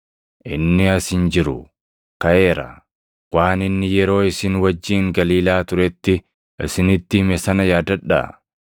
Inni as hin jiru; kaʼeera! Waan inni yeroo isin wajjin Galiilaa turetti isinitti hime sana yaadadhaa.